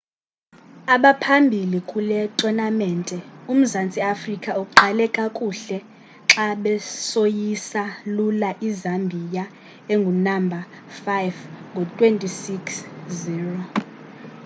abaphambili kule tonamente umzantsi afrika uqale kakuhle xa besoyisa lula izambiya engunamba 5 ngo-26 - 00